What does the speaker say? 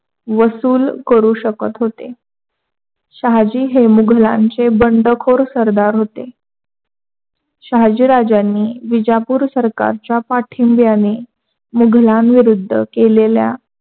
वसूल करू शकत होते. शहाजी हे मुधालांचे बंडखोर सरदार होते. शाहाजी राज्यांनी विजापूर सरकारच्या पाठींब्याने मुघालाविरूढ केलेल्या